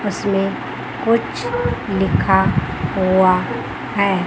उसमें कुछ लिखा हुआ है।